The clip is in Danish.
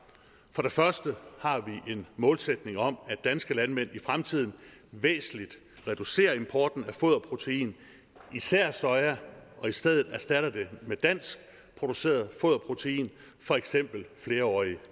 for det første har vi en målsætning om at danske landmænd i fremtiden væsentligt reducerer importen af foderprotein især soja og i stedet erstatter det med danskproduceret foderprotein for eksempel flerårige